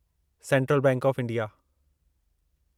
central bank of India